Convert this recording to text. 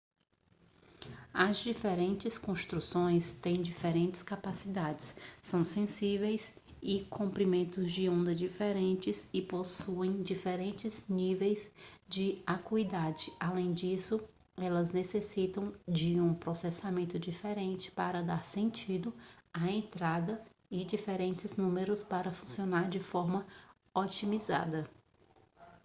as diferentes construções têm diferentes capacidades são sensíveis a comprimentos de onda diferentes e possuem diferentes níveis de acuidade além disso elas necessitam de um processamento diferente para dar sentido à entrada e diferentes números para funcionar de forma otimizada